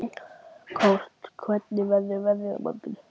Kort, hvernig verður veðrið á morgun?